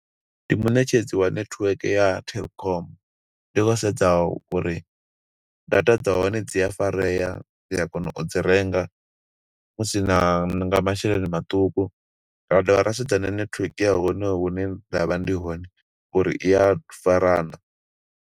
Ndi muṋetshedzi wa network ya Telkom, ndi khou sedza uri, data dza hone dzi a farea, ndi a kona u dzi renga, musi na nga masheleni maṱuku. Ra dovha ra sedza na netiweke ya hone hune nda vha ndi hone uri iya fara naa.